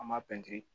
An b'a pɛntiri